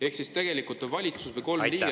Ehk siis tegelikult valitsus või kolm selle liiget …